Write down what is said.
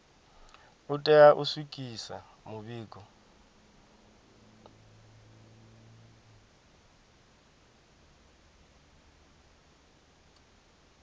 u tea u swikisa mivhigo